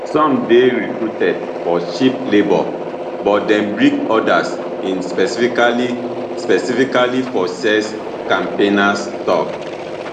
some dey recruited for cheap labour but dem bring odas in specifically specifically for sex campaigners tok